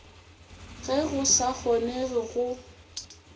ge go sa kgonege go